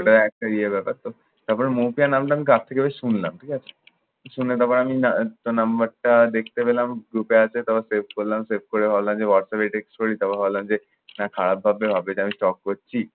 ওটা একটা ইয়ে ব্যাপার তো। তারপর মুখে নামলাম কার থেকে যে শুনলাম ঠিক আছে। শুনে তারপর আমি তোর নম্বরটা দেখতে পেলাম group এ আছে। তখন save করলাম। save করে ভাবলাম যে হোয়াটসঅ্যাপ এ text করি। তারপর ভাবলাম যে, না খারাপ ভাববে। ভাববে যে আমি করছি।